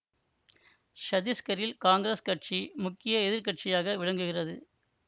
சத்தீஸ்கரில் காங்கிரஸ் கட்சி முக்கிய எதிர் கட்சியாக விளங்குகிறது